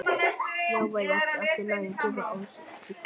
Já, væri ekki allt í lagi að gefa ástinni tækifæri?